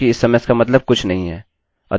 अतः रिफ्रेश करें और हमें nothing मिला